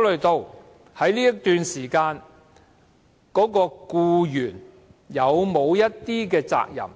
慮在該段時間僱員是否應負上責任。